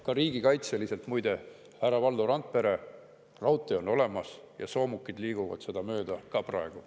Ka riigikaitseliselt muide, härra Valdo Randpere: raudtee on olemas ja soomukid liiguvad seda mööda ka praegu.